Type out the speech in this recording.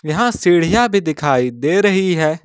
यहां सीढ़ियां भी दिखाई दे रही है।